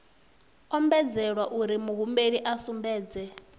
ombedzelwa uri muhumbeli a sumbedze